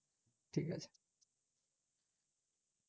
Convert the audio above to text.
ঠিকআছে